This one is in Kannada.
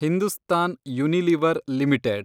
Hindustan Unilever limited